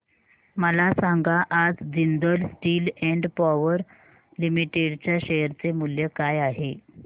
मला सांगा आज Jindal Steel and Power Limited च्या शेअर चे मूल्य काय आहे